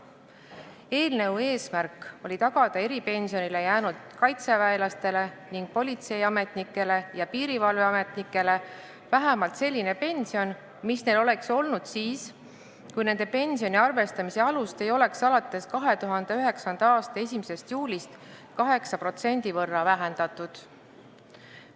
Eelnõu eesmärk oli tagada eripensionile jäänud kaitseväelastele ning politseiametnikele ja piirivalveametnikele vähemalt selline pension, mis neil oleks olnud siis, kui nende pensioni arvestamise alust ei oleks alates 2009. aasta 1. juulist 8% võrra vähendatud.